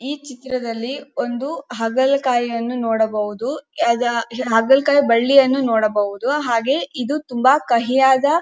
ಈ ಚಿತ್ರದಲ್ಲಿ ಒಂದು ಹಾಗಲಕಾಯಿ ಅನ್ನು ನೋಡಬಹುದು ಹಾಗಲಕಾಯಿ ಬಳ್ಳಿಯನ್ನು ನೋಡಬಹುದು ಹಾಗೆ ಇದು ತುಂಬಾ ಕಹಿಯಾದ --